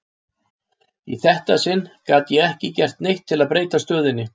Í þetta sinn gat ég ekki gert neitt til að breyta stöðunni.